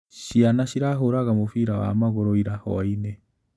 Ciana cirahũraga mũbira wa magũrũ ira hwainĩ.